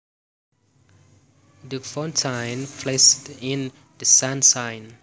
The fountain flashed in the sunshine